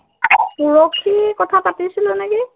পৰহি কথা পাতিছিলো নিকি